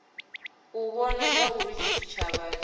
u vhona zwauri tshitshavha tshi